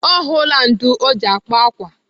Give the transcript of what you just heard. Ọ hụla ndụ̀ ọ ji akpa akwa.